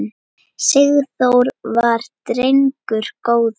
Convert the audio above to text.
Sigþór var drengur góður.